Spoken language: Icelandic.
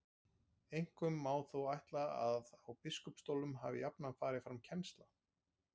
Einkum má þó ætla að á biskupsstólunum hafi jafnan farið fram kennsla.